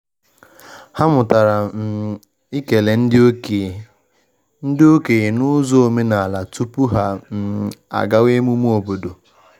Ha mụtara um ịkele ndị okenye ndị okenye n’ụzọ omenala tupu ha um agawa emume obodo.